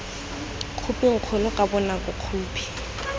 khophing kgolo ka bonako khophi